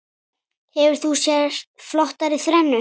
Hefur þú séð flottari þrennu?